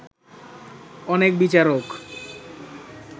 অনেক বিচারক